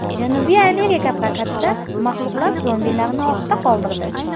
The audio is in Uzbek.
Janubiy Amerika prokatida maxluqlar zombilarni ortda qoldirdi.